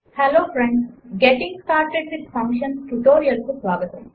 hello friends getting started with functions ట్యుటోరియల్కు స్వాగతం